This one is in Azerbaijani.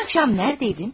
Dünən axşam haradaydın?